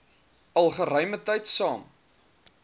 al geruimetyd saam